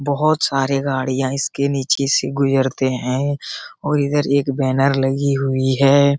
बहुत सारी गाड़ियाँ इसके नीचे से गुजरते हैं और इधर एक बैनर लगी हुई है।